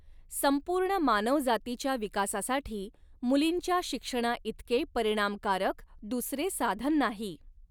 संपूर्ण मानवजातीच्या विकासासाठी मुलींच्या शिक्षणाइतके परिणामकारक दुसरे साधन नाही.